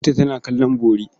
Binta tana kallon bori.